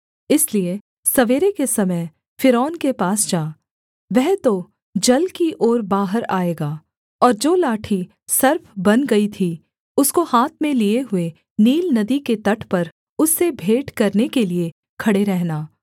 इसलिए सवेरे के समय फ़िरौन के पास जा वह तो जल की ओर बाहर आएगा और जो लाठी सर्प बन गई थी उसको हाथ में लिए हुए नील नदी के तट पर उससे भेंट करने के लिये खड़े रहना